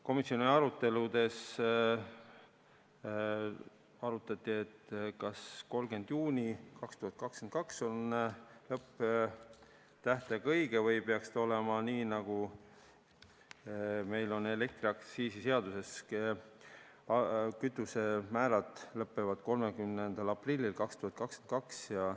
Komisjoni aruteludes arutati, kas 30. juuni 2022 on õigustatud lõpptähtaeg või peaks olema nii, nagu meil on elektriaktsiisi seaduses, et kütusemäärade kehtvus lõpeb 30. aprillil 2022.